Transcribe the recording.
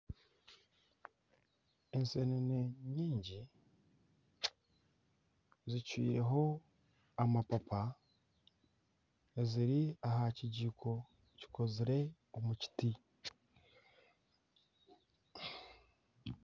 Ensenene nyingi zicwireho amapapa eziri aha kijiiko kikozirwe omu kiti.